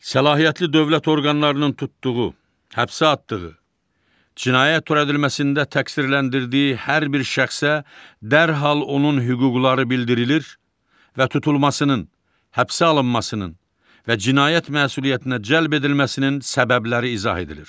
Səlahiyyətli dövlət orqanlarının tutduğu, həbsə atdığı, cinayət törədilməsində təqsirləndirdiyi hər bir şəxsə dərhal onun hüquqları bildirilir və tutulmasının, həbsə alınmasının və cinayət məsuliyyətinə cəlb edilməsinin səbəbləri izah edilir.